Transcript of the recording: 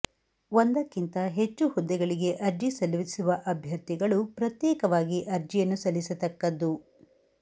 ಒಂದಕ್ಕಿಂತ ಹೆಚ್ಚು ಹುದ್ದೆಗಳಿಗೆ ಅರ್ಜಿ ಸಲ್ಲಿಸುವ ಅಭ್ಯರ್ಥಿಗಳು ಪ್ರತ್ಯೇಕವಾಗಿ ಅರ್ಜಿಯನ್ನು ಸಲ್ಲಿಸತಕ್ಕದ್ದು